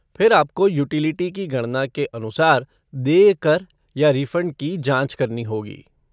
फिर आपको यूटिलिटी की गणना के अनुसार देय कर या रिफ़ंड की जाँच करनी होगी।